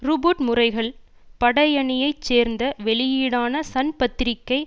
Rupert முறைகள் படையணியைச் சேர்ந்த வெளியீடான சன் பத்திரிகை